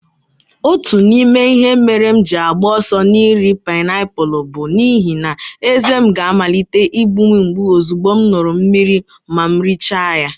Otu n'ime ihe mere m ji agba ọsọ n'iri painiapulu bụ n'ihi na ezé m ga-amalite imgbu m mgbu ozugbo m ṅụrụ mmiri ma m richaa ya.